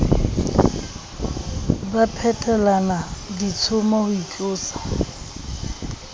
ba phetelana ditshomo ho itlosa